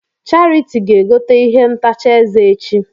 Charity ga egote ihe ntacha eze echi.